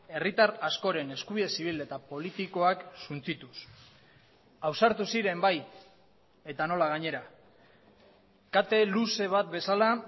herritar askoren eskubide zibil eta politikoak suntsituz ausartu ziren bai eta nola gainera kate luze bat bezala